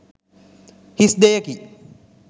හිස් දෙයකි.